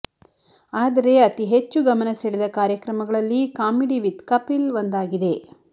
ಆದರೆ ಅತಿ ಹೆಚ್ಚು ಗಮನ ಸೆದ ಕಾರ್ಯಕ್ರಮಗಳಲ್ಲಿ ಕಾಮಿಡಿ ವಿತ್ ಕಪಿಲ್ ಒಂದಾಗಿದೆ